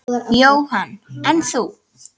Jóhann: En þú?